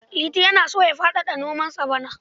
Liti yana so ya faɗaɗa nomansa bana.